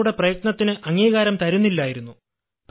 ഞങ്ങളുടെ പ്രയത്നത്തിനു അംഗീകാരം തരുന്നില്ലായിരുന്നു